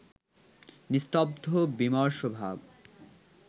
নিস্তব্ধ বিমর্ষভাব